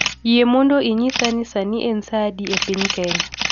Yie mondo inyisa ni sani en saa adi e piny Kenya